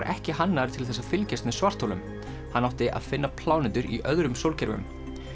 ekki hannaður til þess að fylgjast með svartholum hann átti að finna plánetur í öðrum sólkerfum